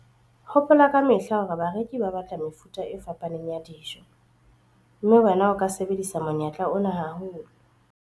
Hopola ka mehla hore bareki ba batla mefuta e fapaneng ya dijo, mme wena o ka sebedisa monyetla ona haholo.